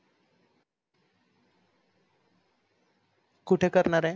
कुठे करणार आहे?